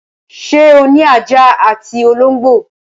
Ṣé o ní ajá àti olóńgbò l?